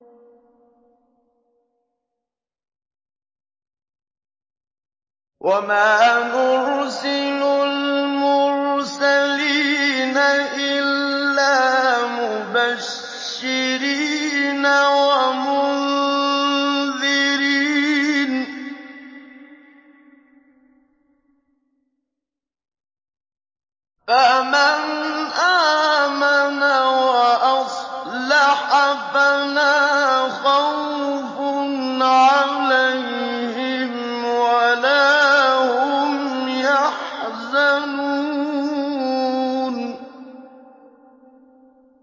وَمَا نُرْسِلُ الْمُرْسَلِينَ إِلَّا مُبَشِّرِينَ وَمُنذِرِينَ ۖ فَمَنْ آمَنَ وَأَصْلَحَ فَلَا خَوْفٌ عَلَيْهِمْ وَلَا هُمْ يَحْزَنُونَ